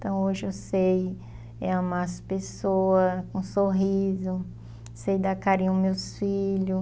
Então, hoje eu sei é amar as pessoas com sorriso, sei dar carinho aos meus filho.